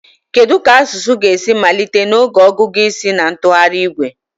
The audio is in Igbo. Kedu ka asụsụ ga-esi malite n'oge ọgụgụ isi na ntụgharị igwe